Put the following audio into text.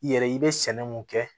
I yɛrɛ i bɛ sɛnɛ mun kɛ